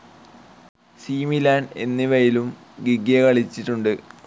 C Milan എന്നിവയിലും Ghiggia കളിച്ചിട്ടുണ്ട്.